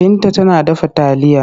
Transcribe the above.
Binta tana dafa taliya.